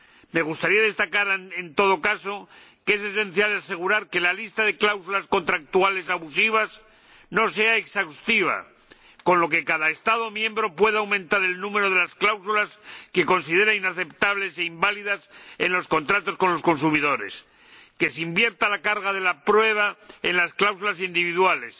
Me gustaría destacar, en todo caso, que es esencial asegurar que la lista de cláusulas contractuales abusivas no sea exhaustiva, de manera que cada Estado miembro pueda aumentar el número de cláusulas que considere inaceptables e inválidas en los contratos con los consumidores, que se invierta la carga de la prueba en las cláusulas individuales,